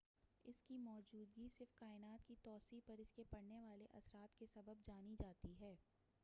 اس کی موجودگی صرف کائنات کی توسیع پر اس کے پڑنے والے اثرات کے سبب جانی جاتی ہے